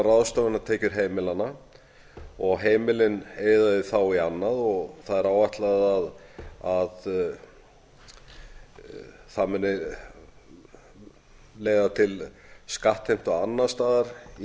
ráðstöfunartekjur heimilanna og heimilin eyða því þá í annað og það er áætlað að það muni leiða til skattheimtu annars staðar í